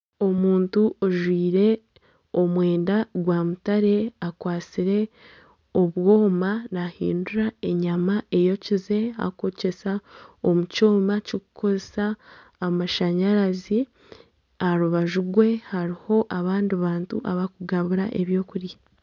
Omuntu ojwaire omwenda gwa mutare akwatsire obwoma nahindura enyama eyokize arikwokyeza omu kyoma kirikukoresa amashanyarazi aharubaju rwe hariho abandi bantu abarikugabura ebyokurya.